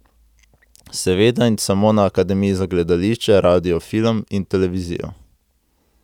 Seveda in samo na Akademiji za gledališče, radio, film in televizijo.